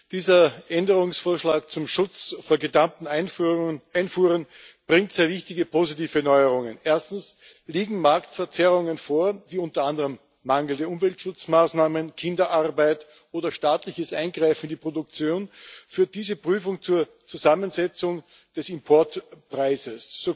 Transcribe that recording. Dieser Änderungsvorschlag zum Schutz vor gedumpten Einfuhren bringt sehr wichtige positive Neuerungen. Erstens Liegen Marktverzerrungen vor wie unter anderem mangelnde Umweltschutzmaßnahmen, Kinderarbeit oder staatliches Eingreifen in die Produktion, führt diese Prüfung zur Zusammensetzung des Importpreises.